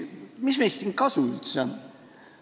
Mis meist siin üldse kasu on?